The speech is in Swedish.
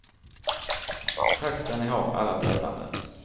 Tack ska ni ha, alla tävlande.